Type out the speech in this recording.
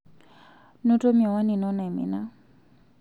noto miwani ino naimina